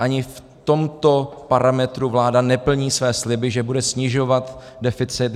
Ani v tomto parametru vláda neplní své sliby, že bude snižovat deficit.